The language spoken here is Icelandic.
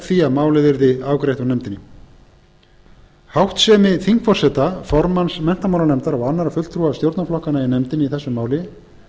því að málið yrði afgreitt úr nefndinni háttsemi þingforseta formanns menntamálanefndar og annarra fulltrúa stjórnarflokkanna í nefndinni í þessu máli